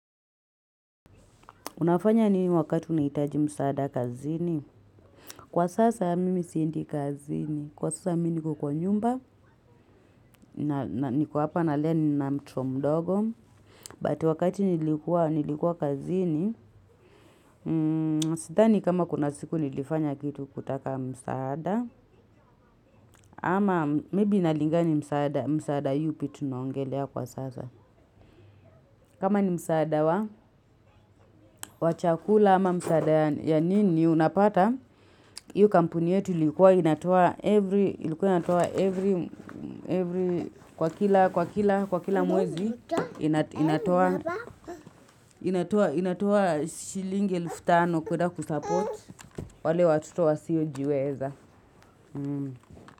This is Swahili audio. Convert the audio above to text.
Unafanya ni wakati unihitaji msaada kazini. Kwa sasa mimi siendi kazini. Kwa sasa mimi niko kwa nyumba. Niko hapa na lea nina mtoto mdogo. But wakati nilikua kazini. Sidhani kama kuna siku nilifanya kitu kutaka msaada. Ama may be inalinga ni msaada yupi tunaongelea kwa sasa. Kama ni msaada wa chakula ama msaada ya nini unapata. Hiyo kampuni yetu ilikuwa inatoa kwa kila mwezi, inatoa shilingi elfu tano kwenda kusupport wale watoto wasiyojiweza.